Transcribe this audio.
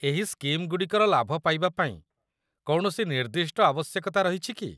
ଏହି ସ୍କିମ୍‌ଗୁଡ଼ିକର ଲାଭ ପାଇବା ପାଇଁ କୌଣସି ନିର୍ଦ୍ଦିଷ୍ଟ ଆବଶ୍ୟକତା ରହିଛି କି?